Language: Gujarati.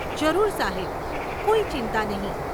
જરૂર સાહેબ, કોઈ ચિંતા નહીં.